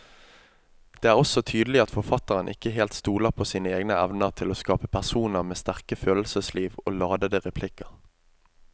Det er også tydelig at forfatteren ikke helt stoler på sine egne evner til å skape personer med sterke følelsesliv og ladete replikker.